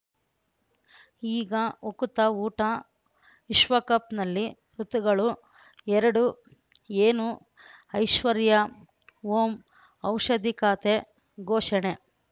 ಈಗ ಉಕುತ ಊಟ ವಿಶ್ವಕಪ್‌ನಲ್ಲಿ ಋತುಗಳು ಎರಡು ಏನು ಐಶ್ವರ್ಯಾ ಓಂ ಔಷಧಿ ಖಾತೆ ಘೋಷಣೆ